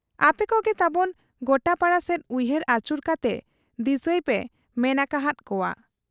ᱟᱯᱮᱠᱚᱜᱮ ᱛᱟᱵᱚᱱ ᱜᱚᱴᱟᱯᱟᱲᱟ ᱥᱮᱫ ᱩᱭᱦᱟᱹᱨ ᱟᱹᱪᱩᱨ ᱠᱟᱛᱮ ᱫᱤᱥᱟᱹᱭᱯᱮᱭ ᱢᱮᱱ ᱟᱠᱟ ᱦᱟᱫ ᱠᱚᱣᱟ ᱾